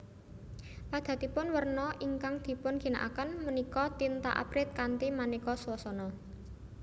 Padatanipun werna ingkang dipunginakaken punika tinta abrit kanthi maneka swasana